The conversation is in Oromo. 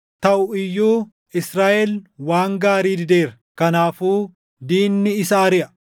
Taʼu iyyuu Israaʼel waan gaarii dideera; kanaafuu diinni isa ariʼa.